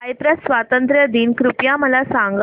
Cyprus स्वातंत्र्य दिन कृपया मला सांगा